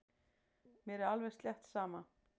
Mér er alveg slétt sama.